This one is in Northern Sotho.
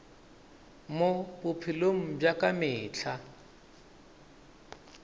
mo bophelong bja ka mehla